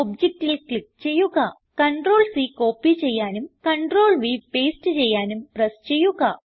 ഒബ്ജക്റ്റിൽ click ചെയ്യുക CTRLC copy ചെയ്യാനും CTRLV paste ചെയ്യാനും പ്രസ് ചെയ്യുക